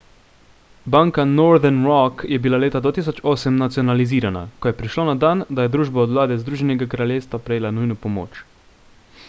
banka northern rock je bila leta 2008 nacionalizirala ko je prišlo na dan da je družba od vlade združenega kraljestva prejela nujno pomoč